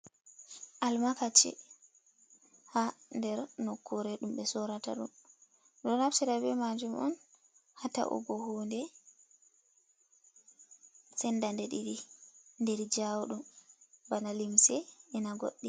Almakachi ha nder nokkure ɗum be sorata ɗum, ɓe ɗo naftira be majum on ha ta’ugo hunde sendade ɗiɗ, inder jawudum bana limse, ena goɗɗi.